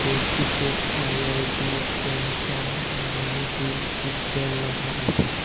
এটিতে IID centre Malinibil Silchar লেখা আছে।